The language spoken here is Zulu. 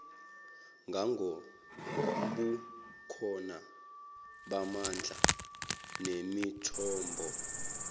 ngangobukhona bamandla nemithombo